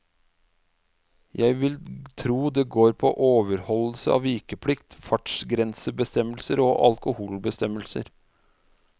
Jeg vil tro det går på overholdelse av vikeplikt, fartsgrensebestemmelser og alkoholbestemmelser.